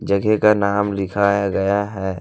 जगह का नाम लिखाया गया है।